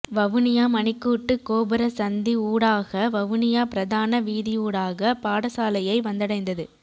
வவுனியா மணிக்கூட்டு கோபுர சந்தி ஊடாக வவுனியா பிரதான வீதியூடாக பாடசாலையை வந்தடைந்தது